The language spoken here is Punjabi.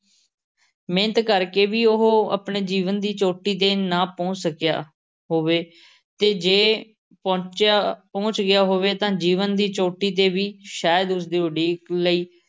ਮਿਹਨਤ ਕਰ ਕੇ ਵੀ ਉਹ ਆਪਣੇ ਜੀਵਨ ਦੀ ਚੋਟੀ ਤੇ ਨਾ ਪਹੁੰਚ ਸਕਿਆ ਹੋਵੇ ਤੇ ਜੇ ਪਹੁੰਚਿਆ ਪਹੁੰਚ ਗਿਆ ਹੋਵੇ ਤਾਂ ਜੀਵਨ ਦੀ ਚੋਟੀ ਤੇ ਵੀ ਸ਼ਾਇਦ ਉਸ ਦੀ ਉਡੀਕ ਲਈ